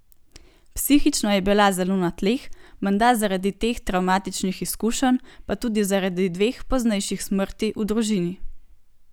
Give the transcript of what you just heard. Psihično je bila zelo na tleh, menda zaradi teh travmatičnih izkušenj pa tudi zaradi dveh poznejših smrti v družini.